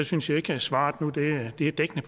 synes ikke at svaret er dækkende